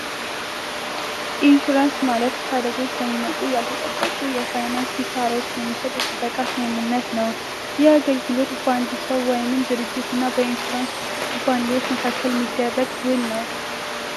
ኢንሹራንስ ማለት ካለች በሚመጡ ያልተጠበቁ የፋይናንስ ኪሳራዎች የሚሰጥ የጥበቃ ስምምነት ነው የአገልግሎት በአንድ ሰው ወይንም ድርጅትና በ ኢንሹራንስ ኩባንያዎች መካከል የሚደረግ ውል ነው።